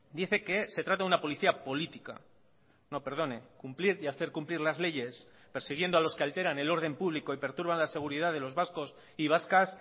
dice que se trata de una policía política no perdone cumplir y hacer cumplir las leyes persiguiendo a los que alteran el orden público y perturban la seguridad de los vascos y vascas